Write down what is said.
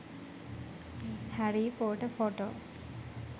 harry pottor photo